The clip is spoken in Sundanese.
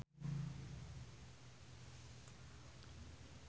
Abdi didamel di Elizabeth